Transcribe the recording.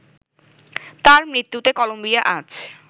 তাঁর মৃত্যুতে কলম্বিয়া আজ